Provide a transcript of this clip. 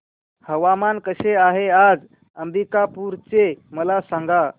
हवामान कसे आहे आज अंबिकापूर चे मला सांगा